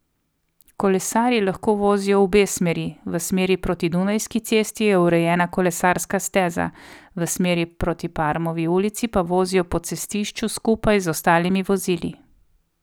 Kolesarji lahko vozijo v obe smeri, v smeri proti Dunajski cesti je urejena kolesarska steza, v smeri proti Parmovi ulici pa vozijo po cestišču skupaj z ostalimi vozili.